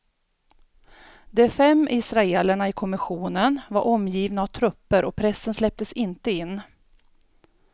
De fem israelerna i kommissionen var omgivna av trupper och pressen släpptes inte in.